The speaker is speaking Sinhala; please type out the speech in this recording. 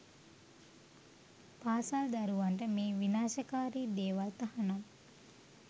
පාසල් දරුවන්ට මේ විනාශකාරි දේවල් තහනම්